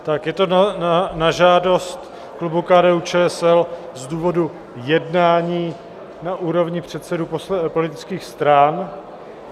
Je to na žádost klubu KDU-ČSL z důvodu jednání na úrovni předsedů politických stran.